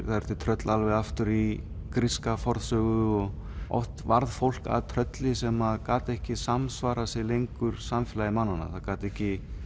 það eru til tröll alveg aftur í gríska fornsögu og oft varð fólk að trölli sem gat ekki samsvarað sér lengur samfélagi mannanna það gat ekki